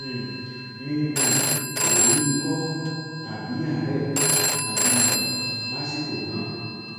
um mi um ò ní ikọ tàbí àárẹ tàbí ibà lásìkò náà